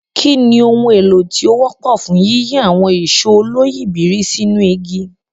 Kí ni ohun èlò tí ó wọ́pọ̀ fún yíyí àwọn ìṣó oloyìibírí sínú igi?